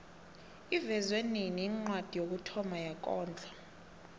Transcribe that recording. ivezwe nini incwadi yokuthoma yekondlo